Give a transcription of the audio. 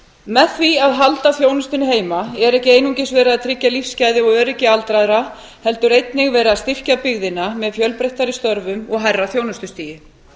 með því að halda þjónustunni heima er ekki einungis verið að tryggja lífsgæði og öryggi aldraðra heldur einnig verið að styrkja byggðina með fjölbreyttari störfum og hærra þjónustustigi